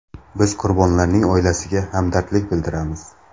Biz qurbonlarning oilasiga hamdardlik bildiramiz.